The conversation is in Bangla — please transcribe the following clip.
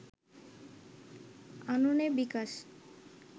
আননে বিকাশ